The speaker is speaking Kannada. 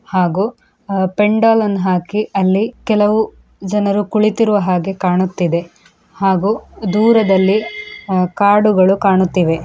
ಇ ಹಾಗೂ ಪೆಂಡಾಲನ್ನು ಹಾಕಿ ಕೆಲವು ಜನಗಳು ಕುಳಿತಿರುವ ಹಾಗೆ ಕಾಣುತ್ತಿದೆ ಹಾಗೂ ದೂರದಲ್ಲಿ ಕಾಡು ಕಾಣಿಸುತ್ತಿದೆ.